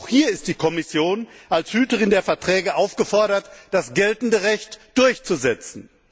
Auch hier ist die Kommission als Hüterin der Verträge aufgefordert, das geltende Recht durchzusetzen.